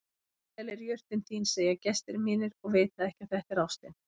Indæl er jurtin þín segja gestir mínir og vita ekki að þetta er ástin.